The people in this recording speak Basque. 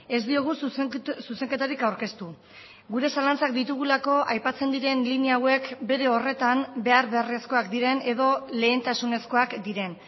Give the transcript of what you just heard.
ez diogu zuzenketarik aurkeztu gure zalantzak ditugulako aipatzen diren linea hauek bere horretan behar beharrezkoak diren edo lehentasunezkoak diren